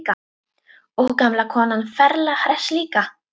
Og gamla konan ferlega hress líka.